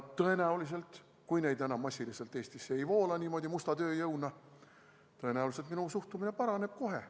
Tõenäoliselt, kui neid massiliselt Eestisse musta tööjõuna ei voola, siis minu suhtumine paraneb kohe.